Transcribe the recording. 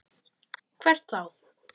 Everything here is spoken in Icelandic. Hvert þá?